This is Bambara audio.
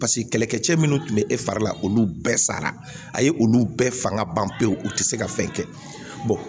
paseke kɛlɛkɛcɛ minnu tun be e fari la olu bɛɛ sara a ye olu bɛɛ fanga ban pewu u ti se ka fɛn kɛ